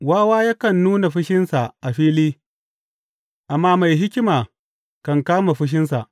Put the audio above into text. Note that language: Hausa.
Wawa yakan nuna fushinsa a fili, amma mai hikima kan kanne fushinsa.